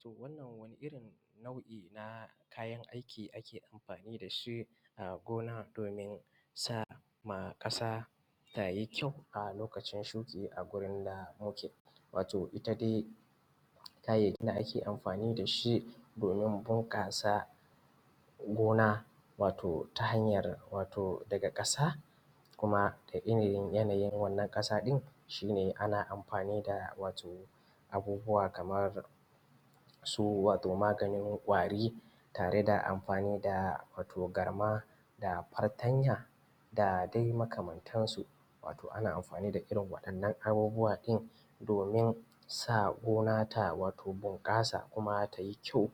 To wannan wani irin nau'i na kayan aiki ake amfani da shi a gona domin sa ma ƙasa tayi ƙyau a lokacin shuki a gurin da muke. Wato ita dai kayayyakin da ake amfani da shi domin bunƙasa gona wato ta hanyar wato daga ƙasa wato kuma da yanayi da yanayin ita wannan ƙasa ɗin, ana amfani da wato abubuwa kamar su maganin ƙwari tare da amfani da wato garma da fartanya da dai makamantansu. Wato ana amfani da irin waɗannan abubuwa din domin sa gona ta bunƙasa wato kuma ta yi kyau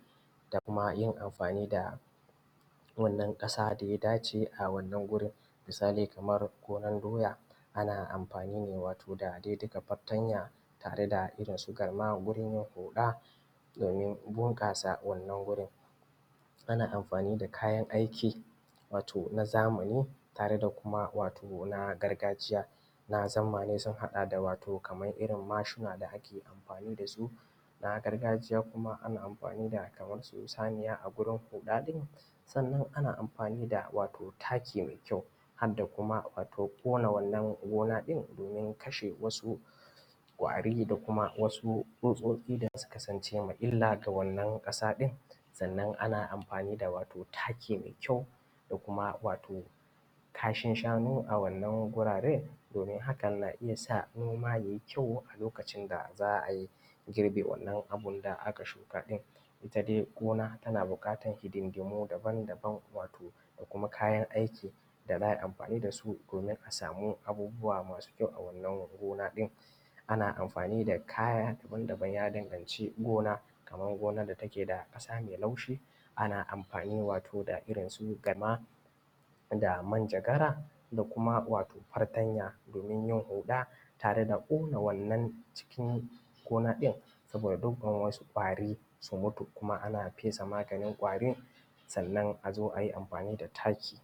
da kuma yin amfani da wannan ƙasa da ya dace a gurin. Misali kamar gonar doya ana amfani da dai dukka fartanya da garma wurin huɗa domin bunƙasa wannan wurin. Ana amfani da kayan aiki na zamani tare da kuma wato na gargajiya, na zamani sun haɗa da wato kamar irin mashina da ake amfani da su. Na gargajiya kuma ana amfani da kamar su saniya a gurin huɗa ɗin, sannan ana amfani da wato taki mai ƙyau har da kuma ƙona wannan gona ɗin, domin kashe wasu ƙwari da kuma wasu tsutsotsi da suka zama illa ga wannan ƙasa ɗin. Sannan ana amfani da wato taki mai ƙyau da kuma wato kashin shanu a wannan guraren domin haka na iya sa noma ya yi ƙyau a lokacin da za a girbe wannan abun da aka shuka ɗin. Ita dai gina tana buƙatar hidindimu daban-daban da kuma kayan aiki domin a samu abubuwa mai ƙyau a wannan gona ɗin. Ana amfani da kaya daban ya danganci gonan da take da ƙasa mai laushi, ana amfani da irinsu garma da minjagara da fatanya da garma domin huɗa tare da ƙona wannan cikin gona ɗin saboda dukkan wasu kwari su mutu, kuma ana fesa maganin ƙwari sannan a zo a yi amfani da taki.